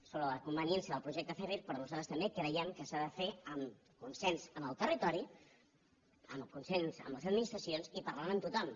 sobre la conveniència del projecte zèfir però nosaltres també creiem que s’ha de fer en consens amb el territori amb el consens de les administracions i parlant amb tothom